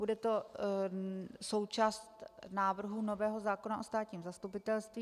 Bude to součást návrhu nového zákona o státním zastupitelství.